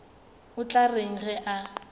o tla reng ge a